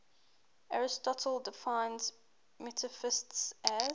aristotle defines metaphysics as